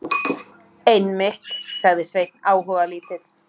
Einmitt, sagði Sveinn áhugalítill.